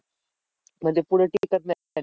म्हणजे